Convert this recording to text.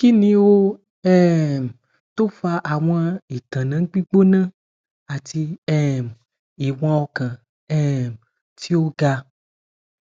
kini o um fa awọn itanna gbigbona ati um iwọn ọkan um ti o ga